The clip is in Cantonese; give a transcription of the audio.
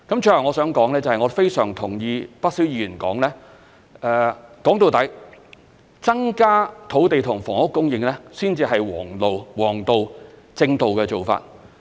最後我想說的是，我非常同意不少議員說，歸根究底，增加土地和房屋供應才是王道、正道的做法。